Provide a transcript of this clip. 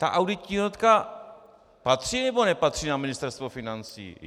Ta auditní jednotka patří, nebo nepatří na Ministerstvo financí?